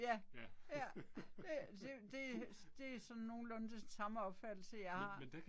Ja. Ja, det det det er sådan nogenlunde det samme opfattelse jeg har